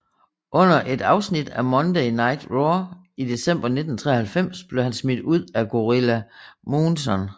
Under et afsnit af Monday Night Raw i december 1993 blev han smidt ud af Gorilla Monsoon